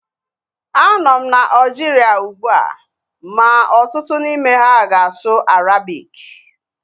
Anọ m na Aljiria ugbua ma ọtụtụ n'ime ha ga-asụ Arabiki